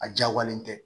A diyagoyalen tɛ